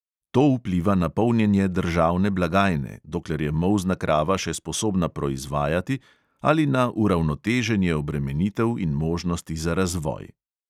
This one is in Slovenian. To vpliva na polnjenje državne blagajne, dokler je molzna krava še sposobna proizvajati, ali na uravnoteženje obremenitev in možnosti za razvoj.